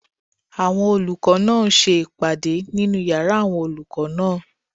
Àwọn olùkọ́ náà ń ṣe ìpàdé nínu yàrá àwọn olùkọ́ náà